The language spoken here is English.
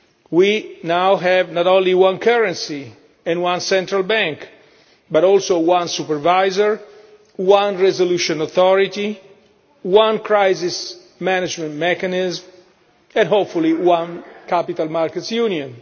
We now have not only one currency and one central bank, but also one supervisor, one resolution authority, one crisis management mechanism and, hopefully, one capital markets union.